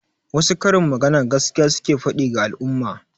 Wasu karin magana gaskiya suke faɗi ga al'umma.